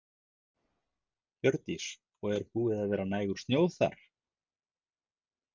Hjördís: Og er búið að vera nægur snjór þar?